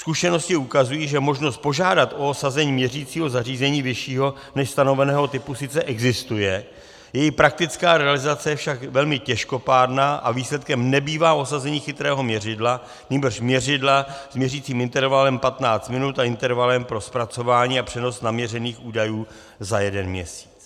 Zkušenosti ukazují, že možnost požádat o osazení měřicího zařízení vyššího než stanoveného typu sice existuje, její praktická realizace je však velmi těžkopádná a výsledkem nebývá osazení chytrého měřidla, nýbrž měřidla s měřicím intervalem 15 minut a intervalem pro zpracování a přenos naměřených údajů za jeden měsíc.